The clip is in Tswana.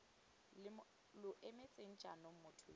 lo emetseng jaanong motho yo